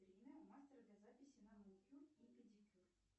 время у мастера для записи на маникюр и педикюр